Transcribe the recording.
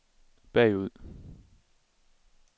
bagud